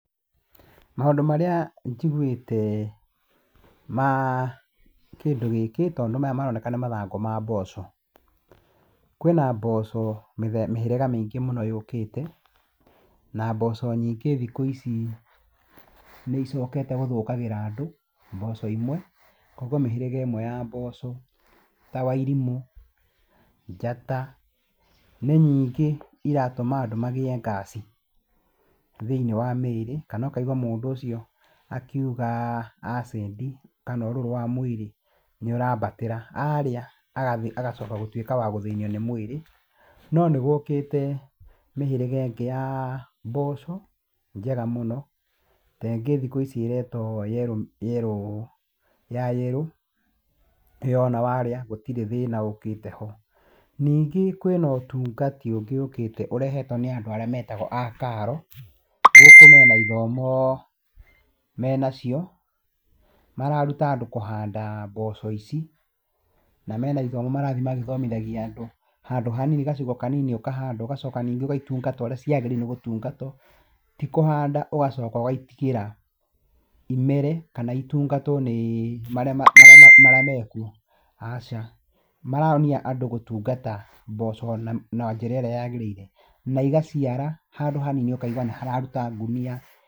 Maũndũ marĩa njiguĩte ma kĩndũ gĩkĩ, tondũ maya maroneka nĩ mathangũ ma mboco. Kwina mboco mĩhĩrĩga mĩingĩ mũno yũkĩte, na mboco nyingĩ thikũ ici nĩ icokete gũthũkagĩra andũ, mboco imwe. Koguo mĩhĩrĩga ĩmwe ya mboco ta wairimũ, njata, nĩ nyingĩ iratũma andũ magĩe ngaci thĩinĩ wa mwĩrĩ, kana ũkaigũa mũndũ ũcio akiuga acĩndi, kana ũrũrũ wa mwĩrĩ nĩ ũrambatĩra. Arĩa agacoka wa gũtuĩka wa gũthĩnio nĩ mwĩrĩ. No nĩ gũkĩte mĩhĩrĩga ĩngĩ ya mboco njega mũno. Ta ĩngĩ thikũ ici ĩretwo yellow, yellow ya yellow. Ĩyo ona warĩa gũtirĩ thĩna ũkĩte ho. Ningĩ kwĩna ũtungati ũngĩ ũkĩte ũrehetwo nĩ andũ arĩa metagwo a KARLO. Gũkũ mena ithomo menacio, mararuta andũ kũhanda mboco ici, na mena ithomo marathiĩ magĩthomithagĩa andũ. Handũ hanini gacigo kanini ũkahanda ũgacoka ũkaitungata ũrĩa ciagĩrĩire nĩgũtungatwo. Ti kũhanda ũgacoka ũgaitigĩra imere kana itungatwo nĩ marĩa mekuo, aca. Maronia andũ gũtungata mboco na njĩra ĩrĩa yagĩrĩire na igaciara handũ hanini ũkaigua nĩhararuta ngũnia.